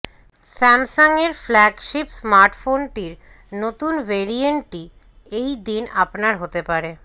Samsung এর এই flagship স্মার্টফোনটির নতুন ভেরিয়েন্টটি এই দিন আপনার হতে পারে